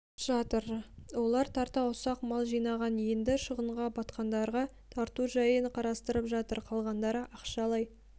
жатыр олар тарта ұсақ мал жинаған енді шығынға батқандарға тарату жайын қарастырып жатыр қалғандары ақшалай